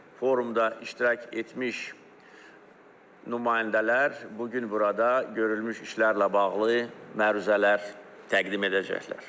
Forumda iştirak etmiş nümayəndələr bu gün burada görülmüş işlərlə bağlı məruzələr təqdim edəcəklər.